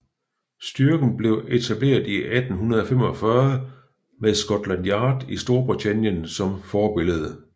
Styrken blev etableret i 1845 med Scotland Yard i Storbritannien som forbillede